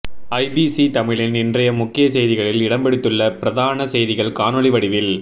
IBC தமிழின் இன்றைய முக்கிய செய்திகளில் இடம்பிடித்துள்ள பிரதான செய்திகள் காணொலி வடிவில்